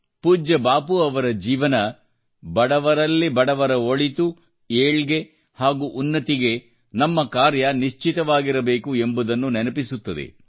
ಪೂಜ್ಯ ಬಾಪು ಅವರ ಜೀವನವು ಬಡವರಲ್ಲಿ ಬಡವರಾದವರ ಒಳಿತು ಏಳ್ಗೆ ಹಾಗೂ ಉನ್ನತಿಗೆ ನಮ್ಮ ಕಾರ್ಯ ನಿಶ್ಚಿತವಾಗಿರಬೇಕು ಎಂಬುದನ್ನು ನೆನಪಿಸುತ್ತದೆ